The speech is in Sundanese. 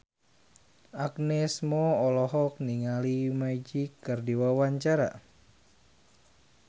Agnes Mo olohok ningali Magic keur diwawancara